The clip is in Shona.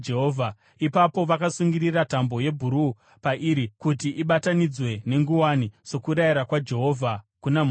Ipapo vakasungirira tambo yebhuruu pairi kuti ibatanidzwe nenguwani, sokurayira kwaJehovha kuna Mozisi.